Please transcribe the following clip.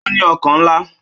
Ó ní ọkàn ńlá